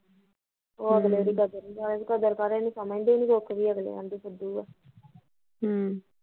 ਹਮ ਉਹ ਅਗਲੇ ਦੀ ਕਦਰ ਨੀ ਜਾਣੇ ਜੇ ਕਦਰ ਪਵੇ ਨੀ ਸਮਜਦੇ ਨੀ ਦੁਖ ਅਗਲਿਆਂ ਦੀ ਫ਼ੁਦੂ ਆ